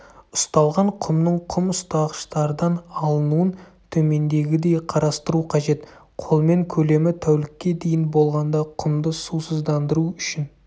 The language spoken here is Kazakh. ұсталған құмның құм ұстағыштардан алынуын төмендегідей қарастыру қажет қолмен көлемі тәулікке дейін болғанда құмды сусыздандыру үшін